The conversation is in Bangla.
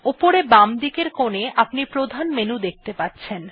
উপরে বামদিকের কোনে আপনি প্রধান মেনু দেখতে পাচ্ছেন